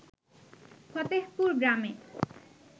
ফতেহপুর গ্রামে